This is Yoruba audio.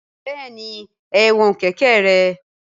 Bẹẹni ẹwọn keke rẹ.